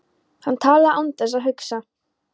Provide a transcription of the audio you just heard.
Hann talaði án þess að hugsa.